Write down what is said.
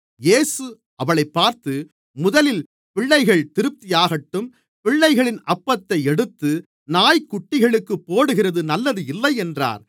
இயேசு அவளைப் பார்த்து முதலில் பிள்ளைகள் திருப்தியாகட்டும் பிள்ளைகளின் அப்பத்தை எடுத்து நாய்க்குட்டிகளுக்குப் போடுகிறது நல்லது இல்லை என்றார்